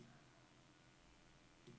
Gedsergård